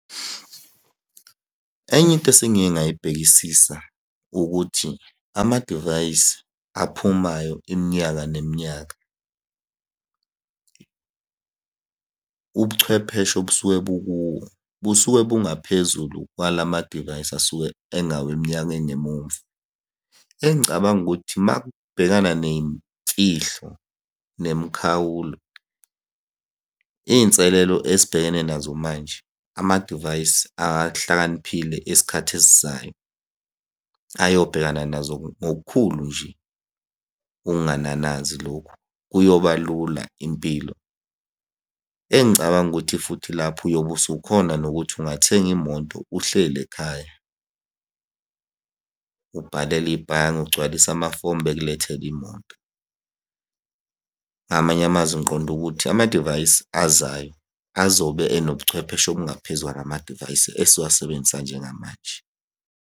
Enye into esengike ngayibhekisisa ukuthi amadivayisi aphumayo iminyaka neminyaka, ubuchwepheshe obusuke bukuwo, busuke bungaphezulu kwalamadivayisi asuke engaweminyaka engemumva. Engicabanga ukuthi, uma kubhekana ney'mfihlo nemikhawulo, iy'nselelo esibhekene nazo manje, amadivayisi ahlakaniphile esikhathi esizayo ayobhekana nazo ngokukhulu nje ukungananazi lokhu, kuyoba lula impilo. Engicabanga ukuthi futhi lapho uyobe usukhona nokuthi ungathenga imoto uhleli ekhaya. Ubhalele ibhange, ugcwalise amafomu, bekulethele imoto. Ngamanye amazwi ngiqonde ukuthi amadivayisi azayo azobe enobuchwepheshe obungaphezu kwalamadivayisi esiwasebenzisa njengamanje.